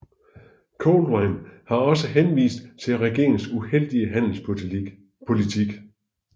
Coldevin har også henvist til regeringens uheldige handelspolitik